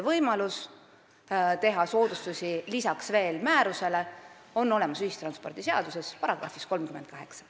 Võimalused teha soodustusi lisaks määruses kehtestatule on kirjas ühistranspordiseaduse §-s 38.